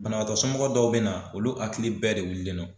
Banabaatɔ somɔgɔ dɔw bɛ na olu hakili bɛɛ de wulilen no.